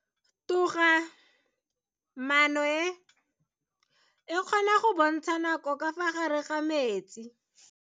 Toga-maano e, e kgona go bontsha nako ka fa gare ga metsi.